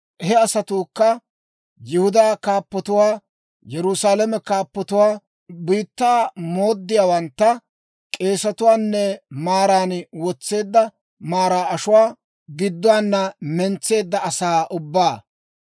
He asatuukka Yihudaa kaappatuwaa, Yerusaalame kaappatuwaa, biittaa mooddiyaawantta, k'eesetuwaanne maaran wotseedda maraa ashuwaa gidduwaana mentseedda asaa ubbaa.